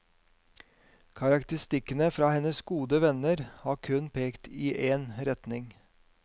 Karakteristikkene fra hennes gode venner har kun pekt i én retning.